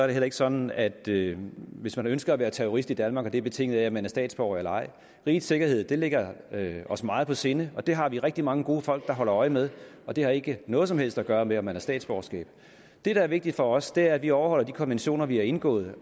det heller ikke sådan at det hvis man ønsker at være terrorist i danmark er betinget af at man er statsborger rigets sikkerhed ligger os meget på sinde det har vi rigtig mange gode folk der holder øje med og det har ikke noget som helst at gøre med om man har et statsborgerskab det der er vigtigt for os er at vi overholder de konventioner vi har indgået